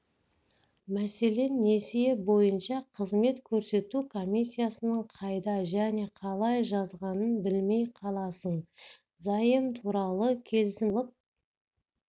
мәселен несие бойынша қызмет көрсету комиссиясын қайда және қалай жазғанын білмей қаласың заем туралы келісімшартты алып